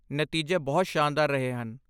ਨਤੀਜੇ ਬਹੁਤ ਸ਼ਾਨਦਾਰ ਰਹੇ ਹਨ।